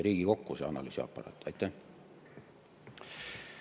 Lihtsalt see analüüsiaparaat ei ole kolinud siia Riigikokku.